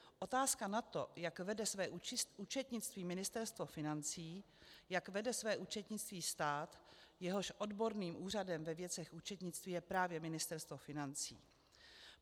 Otázka na to, jak vede své účetnictví Ministerstvo financí, jak vede své účetnictví stát, jehož odborným úřadem ve věcech účetnictví je právě Ministerstvo financí.